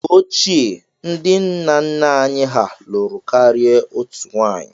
Mgbe ochie, ndị nna nna anyị hà lụrụ karịa otù nwunye.